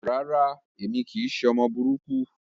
Rárá, èmi kìí ṣe ọmọ burúkú.